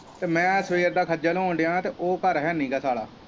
ਤੇ ਮੈਂ ਸਵੇਰ ਦਾ ਖੱਜਲ ਹੋਣ ਦਿਆਂ ਤੇ ਉਹ ਘਰ ਹੈਨੀ ਗਾ ਸਾਲਾ।